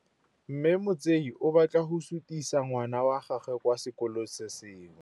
Mme Motsei o batla go sutisa ngwana wa gagwe kwa sekolong se sengwe.